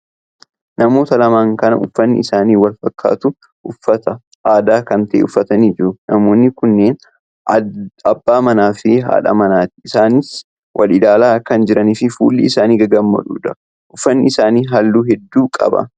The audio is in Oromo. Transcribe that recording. Namoota lama kan uffanni isaanii wal fakkaatu uffata aadaa kan ta'e uffatanii jiru. Namoonni kunneen abbaa manaa fi haadha manaati, isaanis wal ilaalaa kan jiranidha. Fuulli isaanii gagammadoodha. uffanni isaanii halluu hedduu qaba.